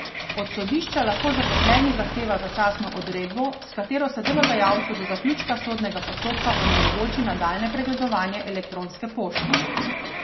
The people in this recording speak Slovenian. Od sodišča lahko zaposleni zahteva začasno odredbo, s katero se delodajalcu do zaključka sodnega postopka onemogoči nadaljnje pregledovanje elektronske pošte.